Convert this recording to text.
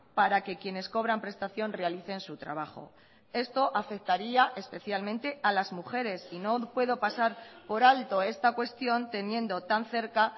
para que quienes cobran prestación realicen su trabajo esto afectaría especialmente a las mujeres y no puedo pasar por alto esta cuestión teniendo tan cerca